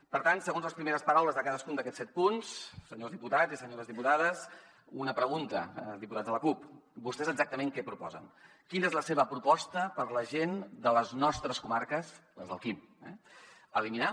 per tant segons les primeres paraules de cadascun d’aquests set punts senyors diputats i senyores diputades una pregunta diputats de la cup vostès exactament què proposen quina és la seva proposta per a la gent de les nostres comarques les del quim eliminar